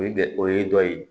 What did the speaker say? O ye bɛ o ye dɔ ye